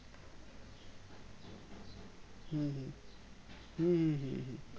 হুম হুম হুম হুম হুম